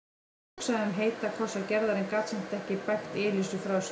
Hann hugsaði um heita kossa Gerðar en gat samt ekki bægt Elísu frá sér.